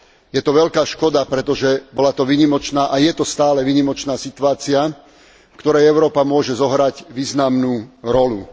Je to veľká škoda, pretože bola to a je to stále výnimočná situácia, v ktorej Európa môže zohrať významnú rolu.